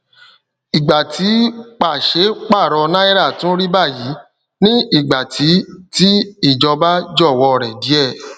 ìgbà tí pàṣẹ paro náírà tún rí bayi ni igba ti ti ìjọba jọwọ rẹ díè